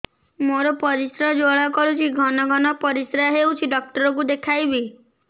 ମୋର ପରିଶ୍ରା ଜ୍ୱାଳା କରୁଛି ଘନ ଘନ ପରିଶ୍ରା ହେଉଛି ଡକ୍ଟର କୁ ଦେଖାଇବି